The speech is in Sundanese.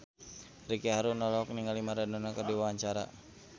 Ricky Harun olohok ningali Maradona keur diwawancara